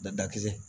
Dadakisɛ